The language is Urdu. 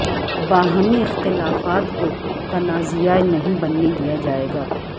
باہمی اختلافات کو تنازعہ نہیں بننے دیا جائے گا